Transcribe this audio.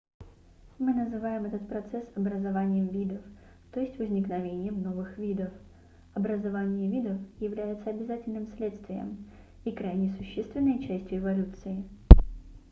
мы называем этот процесс образованием видов то есть возникновением новых видов образование видов является обязательным следствием и крайне существенной частью эволюции